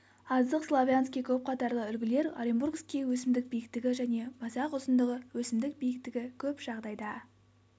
азық славянский көпқатарлы үлгілер оренбургский өсімдік биіктігі және масақ ұзындығы өсімдік биіктігі көп жағдайда